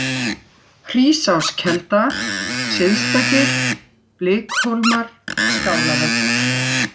Hrísáskelda, Syðsta-Gil, Blikhólmar, Skálavötn